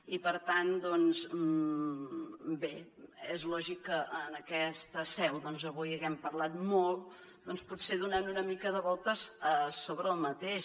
i per tant doncs bé és lògic que en aquesta seu avui haguem parlat molt potser donant una mica de voltes sobre el mateix